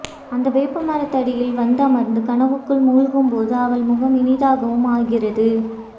அந்த வேப்பமரத்தடியில் வந்தமர்ந்து கனவுக்குள் மூழ்கும்போது அவள் முகம் இனிதாகவும் ஆகிறது